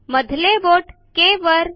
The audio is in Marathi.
मधले बोट Kवर